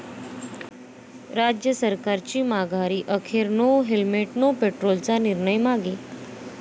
राज्य सरकारची माघारी, अखेर 'नो हेल्मेट नो पेट्रोल'चा निर्णय मागे